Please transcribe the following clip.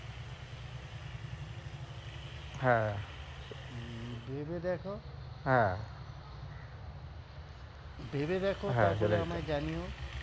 হ্যাঁ ভেবে দেখো হ্যাঁ তারপরে ভেবে দেখো তারপরে আমায় জানিও।